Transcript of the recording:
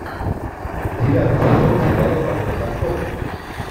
девятый сезон сериала полет конкордов